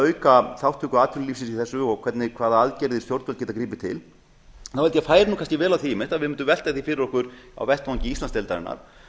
auka þátttöku atvinnulífsins í þessu og hvaða aðgerðir stjórnvöld geta gripið til held ég að færi nú vel á því einmitt að við mundum velta því fyrir okkur á vettvangi íslandsdeildarinnar